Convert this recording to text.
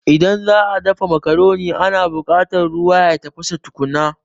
Idan za'a dafa macaroni ana buƙata ruwa ya tafasa tukuna